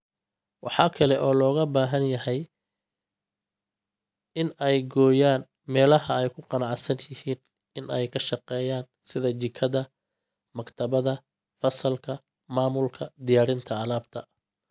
Waxa kale oo looga baahan yahay in ay gooyaan meelaha ay ku qanacsan yihiin in ay ka shaqeeyaan sida jikada, maktabadda, fasalka, maamulka, diyaarinta alaabta.